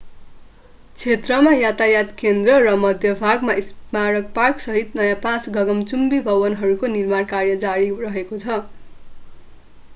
क्षेत्रमा यातायात केन्द्र र मध्य भागमा स्मारक पार्कसहित नयाँ पाँच गगनचुम्बी भवनहरूको निर्माण कार्य जारी रहेको छ